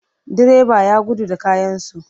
Direba ya gudu da kayansu.